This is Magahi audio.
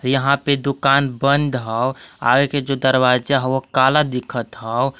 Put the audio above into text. यहां पे दुकान बंद ह आगे के जो दरवाजा हव काला दिखत हव।